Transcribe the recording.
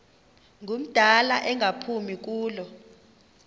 ngumdala engaphumi kulo